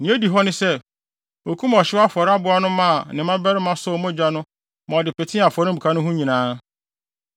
Nea edi hɔ ne sɛ, okum ɔhyew afɔre aboa no maa ne mmabarima sɔw mogya no ma ɔde petee afɔremuka no ho nyinaa,